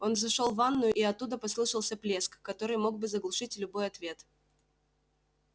он зашёл в ванную и оттуда послышался плеск который мог бы заглушить любой ответ